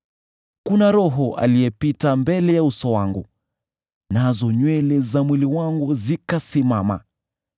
Kuna roho aliyepita mbele ya uso wangu, nazo nywele za mwili wangu zikasimama.